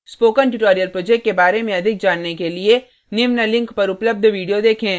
spoken tutorial project के बारे में अधिक जानने के लिए निम्न link पर उपलब्ध video देखें